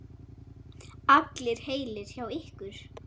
Allir heilir hjá ykkur?